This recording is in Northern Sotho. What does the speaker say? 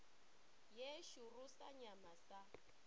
ye šoro sa nyama sa